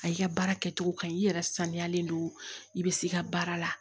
A y'i ka baara kɛcogo kaɲi i yɛrɛ sanuyalen don i bɛ se i ka baara la